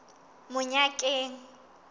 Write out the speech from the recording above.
monyakeng